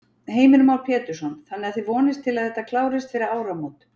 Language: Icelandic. Heimir Már Pétursson: Þannig að þið vonist til að þetta klárist fyrir áramót?